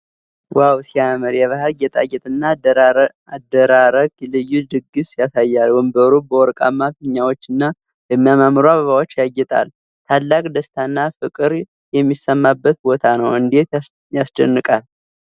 ዋው ሲያምር! የባህል ጌጣጌጥና አደራረግ ልዩ ድግስ ያሳያል። ወንበሩ በወርቃማ ፊኛዎችና በሚያማምሩ አበባዎች ያጌጣል። ታላቅ ደስታና ፍቅር የሚሰማበት ቦታ ነው! እንዴት ያስደንቃል!